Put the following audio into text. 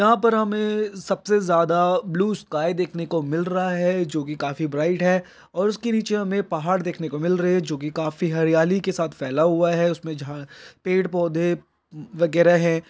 यहाँ पर हमें सबसे ज्यादा ब्लू स्काई देखने को मिल रहा है जो कि काफी ब्राइट और उसके नीचे हमें पहाड देखने को मिल रहे हैं जो कि काफी हरियाली के साथ फैला हुआ है उसमे झा पेड़ पौधे वगेरह हैं।